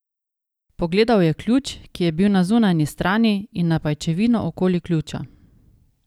Pogledal je ključ, ki je bil na zunanji strani, in na pajčevino okoli ključa.